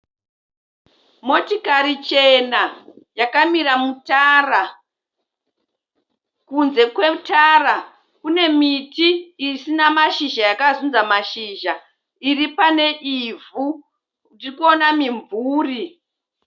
Motikari chena yakamira mutara. Kunze kwetara kune miti isina mashizha yakazunza mashizha. Iri pane ivhu. Tiri kuona mimvuri.